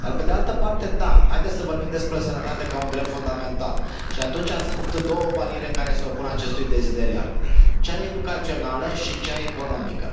Dar, pe de altă parte, da, haideți să vorbim despre sănătate ca un drept fundamental, și atunci sunt două bariere care se opun acestui deziderat cea educațională și cea economică.